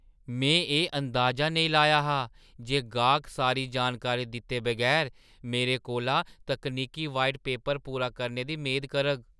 में एह् अंदाज़ा नेईं लाया हा जे गाह्‌क सारी जानकारी दित्ते बगैर मेरे कोला तकनीकी व्हाइट पेपर पूरा करने दी मेद करग।